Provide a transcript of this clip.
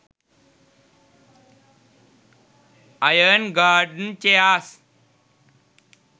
iron garden chairs